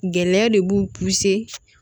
Gɛlɛya de b'u